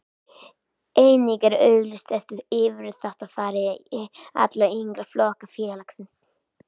Einnig er auglýst eftir yfirþjálfara allra yngri flokka félagsins.